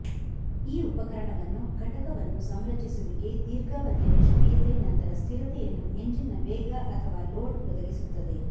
ಈ ಉಪಕರಣವನ್ನು ಘಟಕವನ್ನು ಸಂರಚಿಸುವಿಕೆ ದೀರ್ಘಾವಧಿಯ ನಿಷ್ಕ್ರಿಯತೆ ನಂತರ ಸ್ಥಿರತೆಯನ್ನು ಎಂಜಿನ್ನ ವೇಗ ಅಥವಾ ಲೋಡ್ ಒದಗಿಸುತ್ತದೆ